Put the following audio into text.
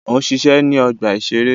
Ó ń ṣiṣẹ́ ní ọgbà-ìṣeré